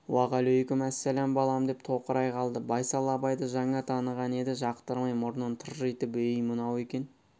уағалайкүммәссәләм балам деп тоқырай қалды байсал абайды жаңа таныған еді жақтырмай мұрнын тыржитып өй мынау екен